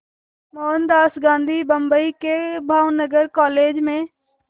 मोहनदास गांधी बम्बई के भावनगर कॉलेज में